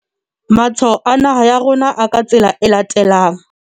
Matshwao a naha ya rona a ka tsela e latelang.